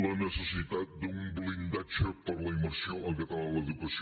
la necessitat d’un blindatge per a la immersió en català a l’educació